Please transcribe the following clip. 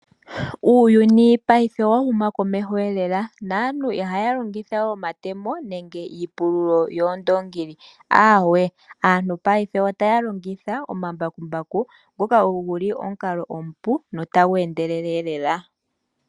Uuyuni paife owa huma komeho elela naantu iha longitha we omatemo nenge iipululo yoondongili awe. Aantu paife otaya longitha omambakumbaku ngoka ogo guli omukalo omupu no tagu endelele elela.